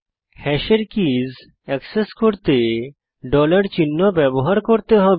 হ্যাশের keys access করতে ডলার চিহ্ন ব্যবহার করতে হবে